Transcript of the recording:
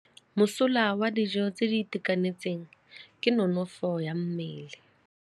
Mosola wa dijô tse di itekanetseng ke nonôfô ya mmele.